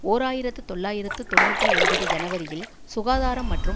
ஓர் ஆயிரத்து தொள்ளாயிரத்து தொன்னூற்றி ஒன்பது ஜனவரியில் சுகாதாரம் மற்றும்